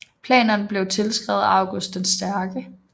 Planerne blev tilskrevet August den Stærke